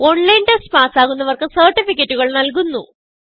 online test പാസ്സാകുന്നവർക്ക് സർട്ടിഫികറ്റുകൾ നല്കുന്നു